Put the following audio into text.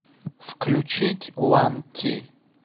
включить уан ти